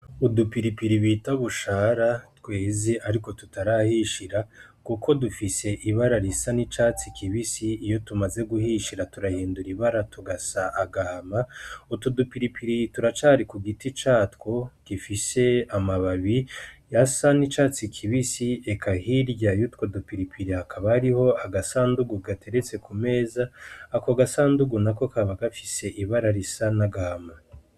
Udupiripiri bita bushara tweze, ariko tutarahishira, kuko dufise ibara risa n’icatsi kibisi. Iyo tumaze guhishira, turahindura ibara, tugasa agahama. Utu dupiripiri turacari ku giti catwo gifise amababi yasa n’icatsi kibisi. Eka hirya yutwo dupiripiri, hakaba hariho agasandugu gateretse ku meza. Ako gasandugu nako kaba gafise ibara risa n’agahama.